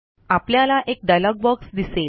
आपल्याला एक dialog box दिसेल